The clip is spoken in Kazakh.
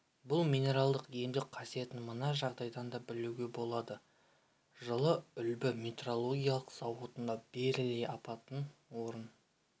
бұл минералдың емдік қасиетін мына жағдайдан да білуге болады жылы үлбі металлургиялық зауытында берилий апаты орын